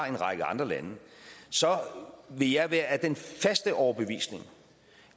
en række andre lande vil jeg være af den faste overbevisning